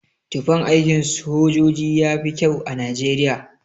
Tufan aikin sojoji yafi kyau a Najeriya.